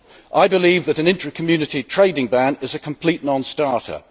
I believe that an intra Community trading ban is a complete non starter.